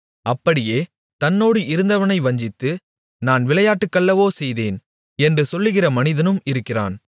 அப்படியே தன்னோடு இருந்தவனை வஞ்சித்து நான் விளையாட்டுக்கல்லவோ செய்தேன் என்று சொல்லுகிற மனிதனும் இருக்கிறான்